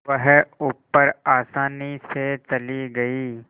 वह ऊपर आसानी से चली गई